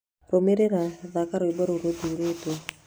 Rũmĩrĩra thaka rwĩmbo rũu rũthuurĩtwo